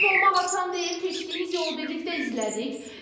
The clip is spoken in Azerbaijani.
Qalib olmaq asan deyil, keçdiyiniz yolu birlikdə izlədik.